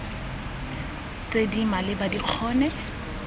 tse di maleba di kgone